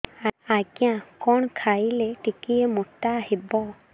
ଆଜ୍ଞା କଣ୍ ଖାଇଲେ ଟିକିଏ ମୋଟା ହେବି